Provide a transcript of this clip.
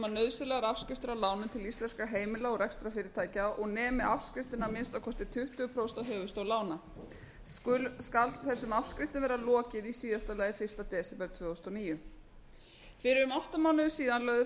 nauðsynlegar afskriftir á lánum íslenskra heimila og rekstrarfyrirtækja og nemi afskriftin að minnsta kosti tuttugu prósent af höfuðstól lána skal þessum afskriftum vera lokið í síðasta lagi fyrsta desember tvö þúsund og níu fyrir um átta mánuðum síðan lögðu